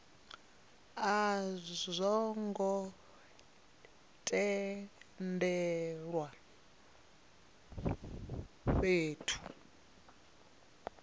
a zwo ngo tendelwa fhethu